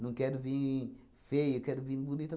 Não quero vim feia, quero vim bonita.